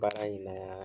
Baara in na